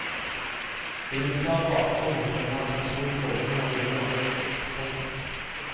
Den militære bakgrunnen preget hans personlige holdninger og ryddige arbeidsstil. punktum